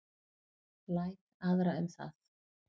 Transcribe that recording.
Læt aðra um það.